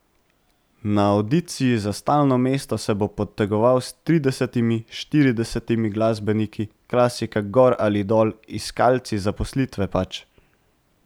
Na avdiciji za stalno mesto se bo potegoval s tridesetimi, štiridesetimi glasbeniki, klasika gor ali dol, iskalci zaposlitve pač.